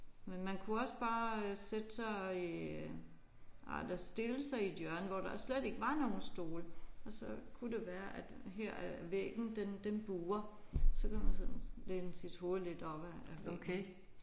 Men man kunne også bare sætte sig i ej eller stille sig i et hjørne hvor der slet ikke var nogen stole og så kunne det være at her at væggen den den buer. Så kan man sådan læne sit hoved lidt op ad ad væggen